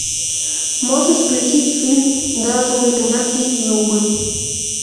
можешь включить фильм даже у ягнят есть зубы